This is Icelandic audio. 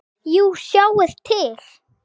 Jú, sjáið til.